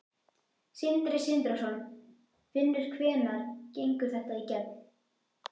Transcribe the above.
Sindri Sindrason: Finnur hvenær gengur þetta í gegn?